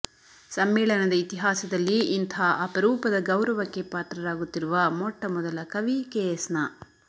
ಸಮ್ಮೇಳನದ ಇತಿಹಾಸದಲ್ಲಿ ಇಂಥ ಅಪರೂಪದ ಗೌರವಕ್ಕೆ ಪಾತ್ರರಾಗುತ್ತಿರುವ ಮೊಟ್ಟಮೊದಲ ಕವಿ ಕೆಎಸ್ನ